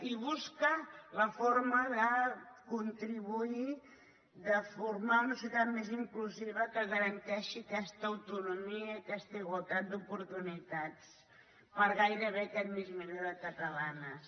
i busca la forma de contribuir de formar una societat més inclusiva que garanteixi aquesta autonomia i aquesta igualtat d’oportunitats per a gairebé aquest mig milió de catalanes